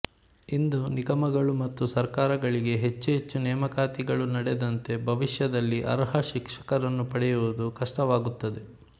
ಇಂದು ನಿಗಮಗಳು ಮತ್ತು ಸರ್ಕಾರಗಳಿಗೆ ಹೆಚ್ಚು ಹೆಚ್ಚು ನೇಮಕಾತಿಗಳು ನಡೆದಂತೆ ಭವಿಷ್ಯದಲ್ಲಿ ಅರ್ಹ ಶಿಕ್ಷಕರನ್ನು ಪಡೆಯುವುದು ಕಷ್ಟವಾಗುತ್ತದೆ